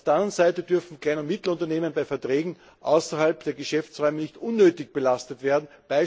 Auf der anderen Seite dürfen kleine und mittlere Unternehmen bei Verträgen außerhalb der Geschäftsräume nicht unnötig belastet werden.